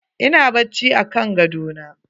Ina bacci akan gadona.